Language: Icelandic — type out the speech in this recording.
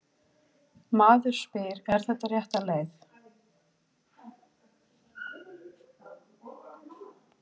Maður spyr: Er þetta rétt leið?